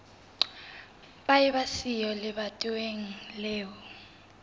ba eba siyo lebatoweng leo